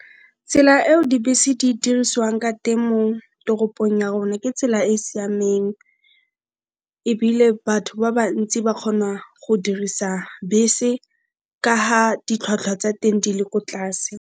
Tsela eo dibese di dirisiwang ka teng mo toropong ya rona ke tsela e siameng, ebile batho ba bantsi ba kgona go dirisa bese ka ga ditlhwatlhwa tsa teng di le ko tlase.